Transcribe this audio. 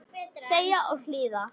Þegja og hlýða.